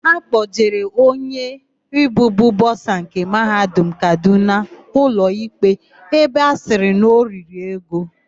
Akpọjere onye bụbu bọsa nke Mahadum Kadụna ụlọikpe ebe a sịrị na o riri ego.